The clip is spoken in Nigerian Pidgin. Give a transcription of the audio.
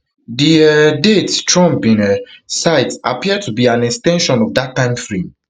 di um date trump bin um cite appear to be an ex ten sion of dat timeframe